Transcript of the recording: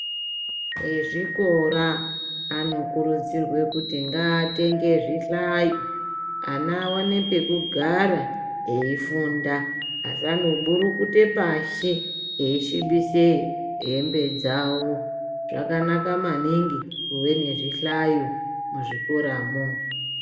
Vezvikora vanokurudzirwa kuti Ngatenge zvihlayo ana awane pekugara eifunda kuburukuta pashi Veisivibisa hembe dzawo zvakanaka maningi kuva nezvihlayo musvikoramo.